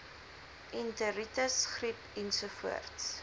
enteritis griep ensovoorts